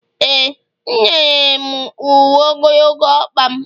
e, m nyere m uwe ogologo ọkpa m